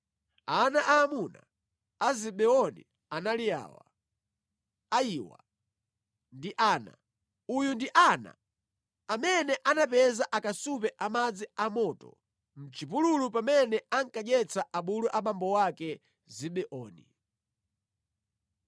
Ana aamuna a Zibeoni anali awa: Ayiwa ndi Ana. Uyu ndi Ana amene anapeza akasupe a madzi amoto mʼchipululu pamene ankadyetsa abulu abambo wake Zibeoni.